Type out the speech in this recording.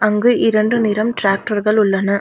அங்கு இரண்டு நிறம் டிராக்டர்கள் உள்ளன.